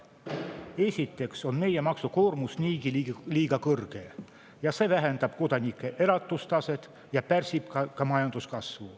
Esiteks on meie maksukoormus niigi liiga kõrge ja see kodanike elatustaset ja pärsib ka majanduskasvu.